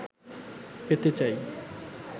পেতে চাই